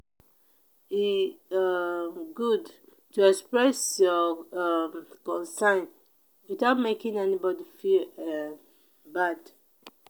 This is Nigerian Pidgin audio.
e um good to express your um concern without making anybody feel um bad.